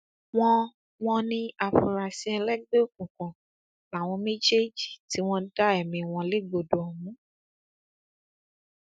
wọn wọn ní àfúrásì ẹlẹgbẹ òkùnkùn làwọn méjèèjì tí wọn dá ẹmí wọn légbodò ọhún